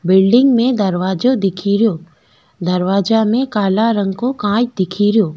Building में दरवाजा दिखेरो दरवाजा में काला रंग को कांच देखेरो।